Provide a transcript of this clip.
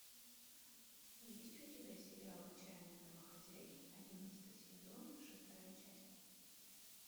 есть у тебя сериал отчаянные домохозяйки одиннадцатый сезон шестая часть